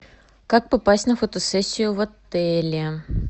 как попасть на фотосессию в отеле